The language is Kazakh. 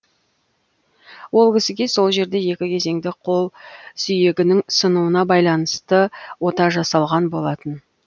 ол кісіге сол жерде екі кезеңді қол сүйегінің сынуына байланысты ота жасалған болатын